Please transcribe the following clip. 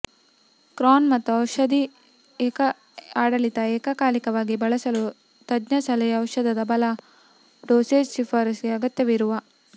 ಕ್ರಾನ್ ಮತ್ತು ಔಷಧ ಆಡಳಿತ ಏಕಕಾಲಿಕವಾಗಿ ಬಳಸಲು ತಜ್ಞ ಸಲಹೆ ಔಷಧದ ಬಲ ಡೋಸೇಜ್ ಶಿಫಾರಸು ಗೆ ಅಗತ್ಯವಿರುವ